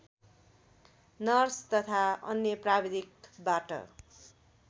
nurse तथा अन्य प्राविधिकबाट